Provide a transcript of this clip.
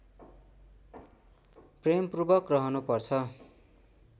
प्रेमपूर्वक रहनु पर्छ